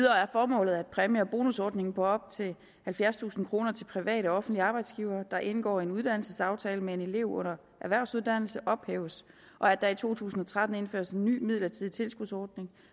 formålet at præmie og bonusordningen på op til halvfjerdstusind kroner til private og offentlige arbejdsgivere der indgår en uddannelsesaftale med en elev under erhvervsuddannelse ophæves og at der i to tusind og tretten indføres en ny midlertidig tilskudsordning